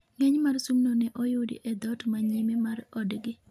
ng'eny mar sumno ne oyudi e dhot ma nyime mar odgi